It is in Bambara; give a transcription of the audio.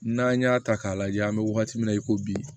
N'an y'a ta k'a lajɛ an bɛ wagati min na i ko bi